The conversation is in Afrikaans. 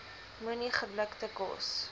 moenie geblikte kos